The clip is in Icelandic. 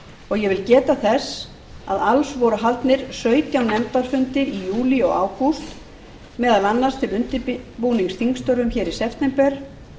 og ég vil geta þess að alls voru haldnir sautján nefndarfundir í júlí og ágúst meðal annars til undirbúnings þingstörfum hér í september